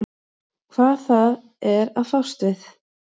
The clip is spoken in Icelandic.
Hvað það er að fást við.